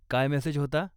काय मेसेज होता?